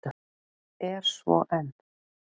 Er svo enn.